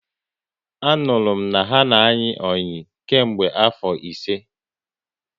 Anuru m na ha na ayi oyi nke mgbe afo ise